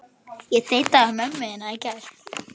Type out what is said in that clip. Og samt átti hann okkur mömmu.